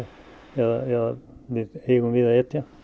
eða við eigum við að etja